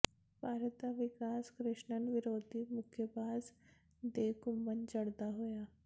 ਭਾਰਤ ਦਾ ਵਿਕਾਸ ਕ੍ਰਿਸ਼ਨਨ ਵਿਰੋਧੀ ਮੁੱਕੇਬਾਜ਼ ਦੇ ਘੁਸੰਨ ਜੜਦਾ ਹੋਇਆ